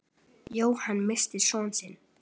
Jóhann missti son sinn.